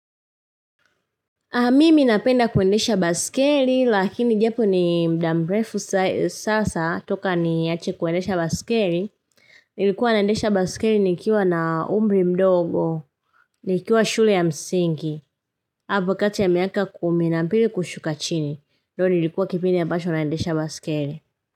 Mimi napenda kuendesha baskeli lakini japo ni muda mrefu sasa toka niache kuendesha baskeli. Nilikuwa naendesha baskeli nikiwa na umri mdogo, nikiwa shule ya msingi, hapa kati ya miaka kumi na mbili kushuka chini. Ndo nilikuwa kipindi ambacho naendesha baskeli.